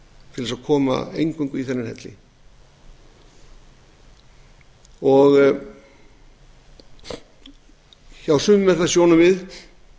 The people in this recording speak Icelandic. til þess eingöngu að koma í þennan helli hjá sumum er það sjónarmið að það eigi